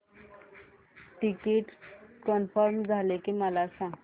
ticket confirm झाले की मला सांग